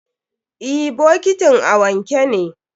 Eh, bokitin a wanke ne.